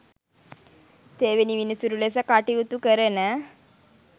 තෙවැනි විනිසුරු ලෙස කටයුතු කරන